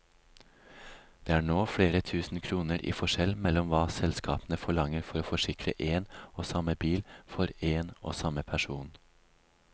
Det er nå flere tusen kroner i forskjell mellom hva selskapene forlanger for å forsikre én og samme bil for én og samme person.